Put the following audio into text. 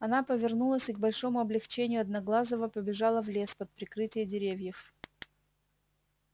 она повернулась и к большому облегчению одноглазого побежала в лес под прикрытие деревьев